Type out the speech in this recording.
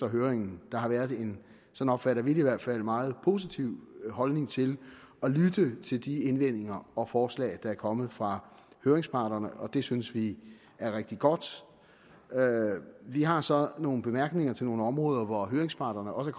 i høring der har været en sådan opfatter vi det i hvert fald meget positiv holdning til at lytte til de indvendinger og forslag der er kommet fra høringsparterne det synes vi er rigtig godt vi har så nogle bemærkninger til nogle områder hvor høringsparterne også